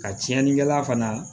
Ka tiɲɛnikɛla fana